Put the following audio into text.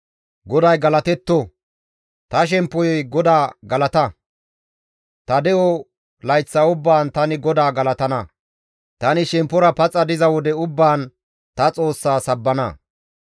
Ta de7o layththa ubbaan tani GODAA galatana; tani shemppora paxa diza wode ubbaan ta Xoossa sabbana.